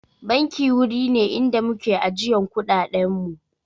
Banki wuri ne inda muke ajiyan kuɗaɗen mu